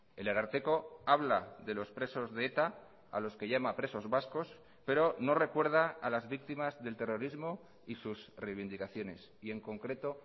el ararteko habla de los presos de eta a los que llama presos vascos pero no recuerda a las víctimas del terrorismo y sus reivindicaciones y en concreto